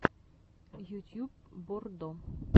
ютьюб боррдо